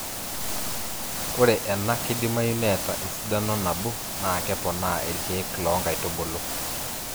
ore ena keidimayu neeta esidano nabo naa kepoonaa iirkeek loo nkaitubulu